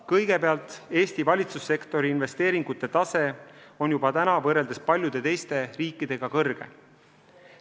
Kõigepealt, Eesti valitsussektori investeeringute tase on juba praegu võrreldes paljude teiste riikidega kõrge.